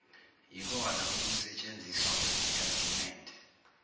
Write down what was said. yikona okusetshenziswa kusitatimende